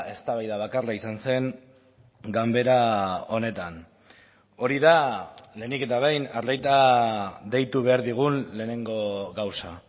eztabaida bakarra izan zen ganbera honetan hori da lehenik eta behin arreta deitu behar digun lehenengo gauza